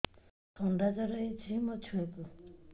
ଥଣ୍ଡା ଜର ହେଇଚି ମୋ ଛୁଆକୁ